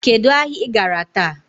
Kedụ ahịa I gara taa?